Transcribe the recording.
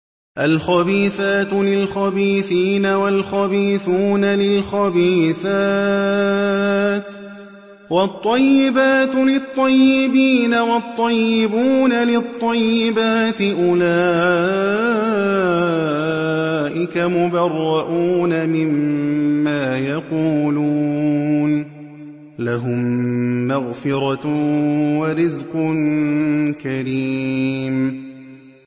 الْخَبِيثَاتُ لِلْخَبِيثِينَ وَالْخَبِيثُونَ لِلْخَبِيثَاتِ ۖ وَالطَّيِّبَاتُ لِلطَّيِّبِينَ وَالطَّيِّبُونَ لِلطَّيِّبَاتِ ۚ أُولَٰئِكَ مُبَرَّءُونَ مِمَّا يَقُولُونَ ۖ لَهُم مَّغْفِرَةٌ وَرِزْقٌ كَرِيمٌ